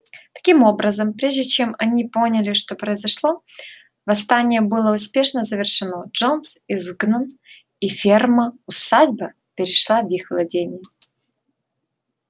таким образом прежде чем они поняли что произошло восстание было успешно завершено джонс изгнан и ферма усадьба перешла в их владение